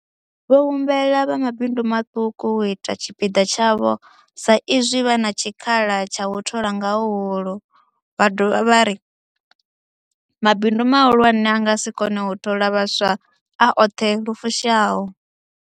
Vho humbela vha mabindu maṱuku u ita tshipiḓa tshavho sa izwi vha na tshikhala tsha u thola nga huhulu, vha dovha vha ri mabindu mahulwane a nga si kone u thola vhaswa a oṱhe lu fushaho.